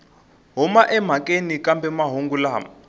huma emhakeni kambe mahungu lama